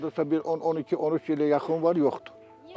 Hardasa bir 10-12-13 ilə yaxın var, yoxdur.